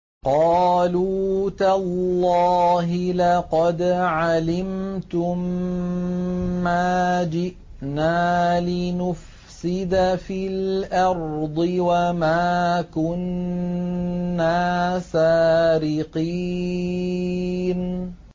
قَالُوا تَاللَّهِ لَقَدْ عَلِمْتُم مَّا جِئْنَا لِنُفْسِدَ فِي الْأَرْضِ وَمَا كُنَّا سَارِقِينَ